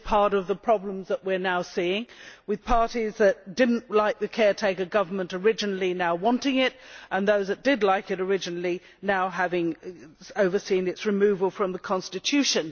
This is part of the problem that we are now seeing, with parties that did not originally like the caretaker government now wanting it, and those that did like it originally now having overseen its removal from the constitution.